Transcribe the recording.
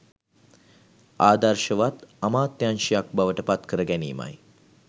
ආදර්ශවත් අමාත්‍යාංශයක් බවට පත්කර ගැනීමයි.